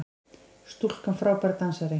Stúlkan frábær dansari!